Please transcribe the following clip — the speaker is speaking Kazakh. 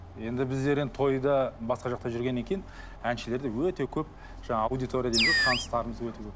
енді біздер енді тойда басқа жақта жүргеннен кейін әншілерде өте көп жаңа аудитория дейміз ғой таныстарымыз өте көп